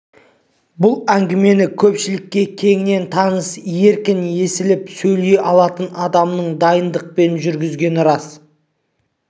бұл әңгімені көпшілікке кеңінен таныс еркін есіліп сөйлей алатын адамның дайындықпен жүргізгені дұрыс